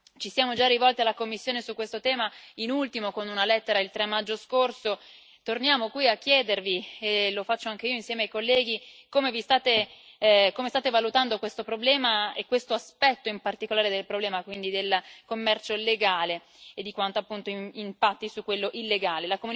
Ci siamo già rivolti alla Commissione su questo tema, in ultimo con una lettera il 3 maggio scorso, e torniamo qui a chiedervi e lo faccio anche io insieme ai colleghi come state valutando questo problema e questo aspetto in particolare del problema, quindi del commercio legale e di quanto appunto impatti su quello illegale.